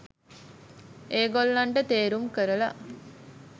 ඒගොල්ලන්ට තෙරුම් කරලා